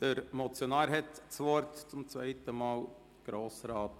Der Motionär, Grossrat Moser, wünscht das Wort vor dem Regierungsrat.